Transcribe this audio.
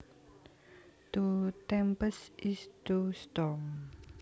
To tempest is to storm